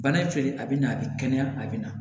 Bana ce a bɛ na a bɛ kɛnɛya a bɛ na